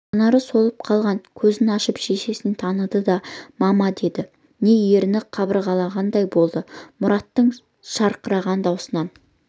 жанары солып қалған көзін ашып шешесін таныды мама деді ме еріні қыбырлағандай болды мұраттың шырқыраған даусынан